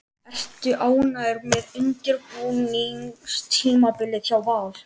Ertu ánægður með undirbúningstímabilið hjá Val?